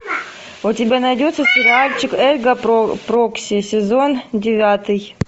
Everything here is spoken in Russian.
у тебя найдется сериальчик эрго прокси сезон девятый